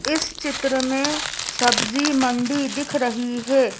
इस चित्र में सब्जी मंडी दिख रही है।